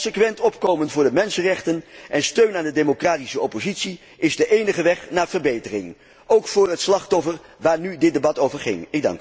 Consequent opkomen voor de mensenrechten en steun aan de democratische oppositie is de enige weg naar verbetering, ook voor het slachtoffer waar nu het debat over ging.